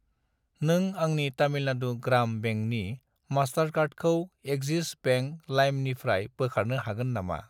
नों आंनि तामिलनाडु ग्राम बेंकनि मास्टारकार्डखौ एक्सिस बेंक लाइमनिफ्राय बोखारनो हागोन नामा?